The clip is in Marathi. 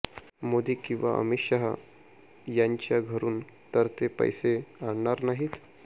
मोदी किंवा अमित शहा यांच्या घरून तर ते पैसे आणणार नाहीत